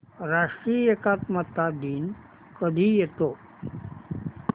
राष्ट्रीय एकात्मता दिन कधी येतो